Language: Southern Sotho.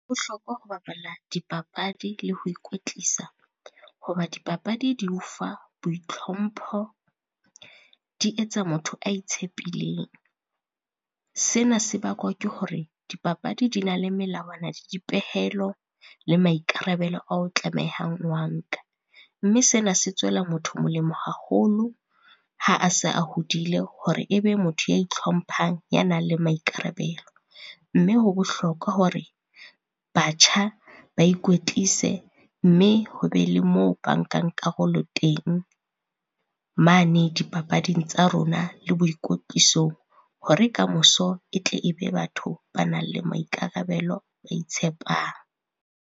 Ho bohlokwa ho bapala dipapadi le ho ikwetlisa, ho ba dipapadi di o fa boitlhompho, di etsa motho a itshepileng. Sena se bakwa ke hore dipapadi di na le melawana le dipehelo, le maikarabelo ao tlamehang ho a nka. Mme sena se tswela motho molemo haholo ha a se a hodile hore e be motho ya itlhomphang ya nang le maikarabelo. Mme ho bohlokwa hore batjha ba ikwetlise mme ho be le moo ba nkang karolo teng, mane dipapading tsa rona le boikwetlisong hore kamoso e tle e be batho ba nang le maikarabelo, ba itshepang.